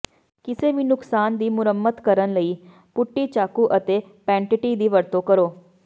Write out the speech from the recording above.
ਕਿਸੇ ਵੀ ਨੁਕਸਾਨ ਦੀ ਮੁਰੰਮਤ ਕਰਨ ਲਈ ਪੁਟਟੀ ਚਾਕੂ ਅਤੇ ਪੈਂਟਟੀ ਦੀ ਵਰਤੋਂ ਕਰੋ